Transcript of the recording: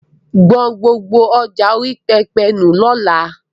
Gbọn gbogbo ọjà orí pẹpẹ nù lọ́la!